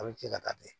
A bɛ cɛ ka taa ten